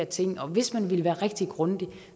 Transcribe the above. ting og hvis man ville være rigtig grundig